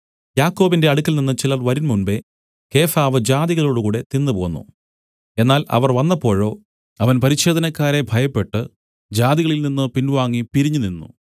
യാക്കോബിന്റെ അടുക്കൽനിന്ന് ചിലർ വരുംമുമ്പെ കേഫാവ് ജാതികളോടുകൂടെ തിന്നു പോന്നു എന്നാൽ അവർ വന്നപ്പോഴോ അവൻ പരിച്ഛേദനക്കാരെ ഭയപ്പെട്ടു ജാതികളിൽ നിന്നു പിൻവാങ്ങി പിരിഞ്ഞു നിന്നു